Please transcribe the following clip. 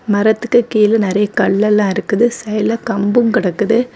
மரத்துக்கு கீழ நறைய கல்லெல்லாம் இருக்குது. செல கம்பும் கடக்குது.